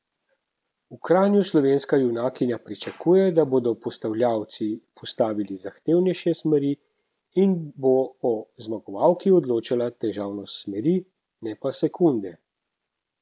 V Kranju slovenska junakinja pričakuje, da bodo postavljavci postavili zahtevnejše smeri in da bo o zmagovalki odločala težavnost smeri, ne pa sekunde.